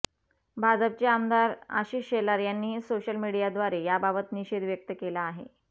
भाजपचे आमदार आशिष शेलार यांनीही सोशल मीडियाद्वारे याबाबत निषेध व्यक्त केला आहे